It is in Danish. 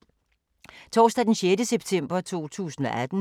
Torsdag d. 6. september 2018